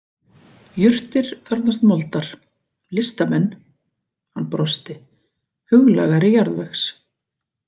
Jurtir þarfnast moldar, listamenn hann brosti huglægari jarðvegs.